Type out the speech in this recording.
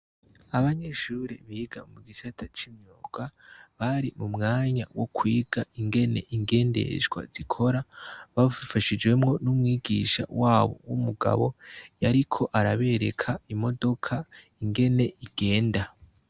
Abanyeshure biga mu gisata c'imyuga bari mu mwanya wo kwiga ingene ingendeshwa zikora babifashijwemo n'umwigisha wabo w'umugabo yariko arabereka imodoka ingene igenda.